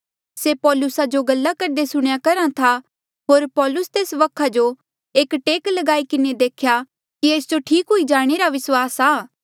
से पौलुसा जो गल्ला करदे सुणेया करहा था होर पाैलुस तेस वखा जो एक टेक ल्गाई किन्हें देख्या कि एस जो ठीक हुई जाणे रा विस्वास आ